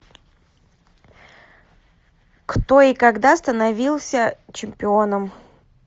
кто и когда становился чемпионом